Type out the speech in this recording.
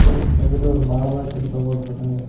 எண்ட்ரன்ஸ்க்கு வந்துட்டு ஒரு மால மாரி கட்டி தொங்கவுட்ருக்காங்க.